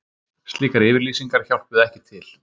Slíkar yfirlýsingar hjálpuðu ekki til